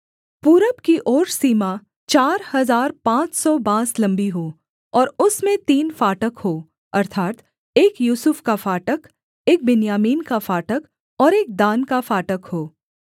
पूरब की ओर सीमा चार हजार पाँच सौ बाँस लम्बी हो और उसमें तीन फाटक हों अर्थात् एक यूसुफ का फाटक एक बिन्यामीन का फाटक और एक दान का फाटक हो